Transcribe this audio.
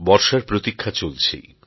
বর্ষার প্রতীক্ষা চলছেই